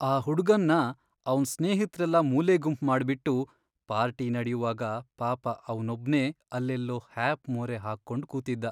ಆ ಹುಡ್ಗನ್ನ ಅವ್ನ್ ಸ್ನೇಹಿತ್ರೆಲ್ಲ ಮೂಲೆಗುಂಪ್ ಮಾಡ್ಬಿಟ್ಟು ಪಾರ್ಟಿ ನಡ್ಯುವಾಗ ಪಾಪ ಅವ್ನೊಬ್ನೇ ಅಲ್ಲೆಲ್ಲೋ ಹ್ಯಾಪ್ ಮೋರೆ ಹಾಕ್ಕೊಂಡ್ ಕೂತಿದ್ದ.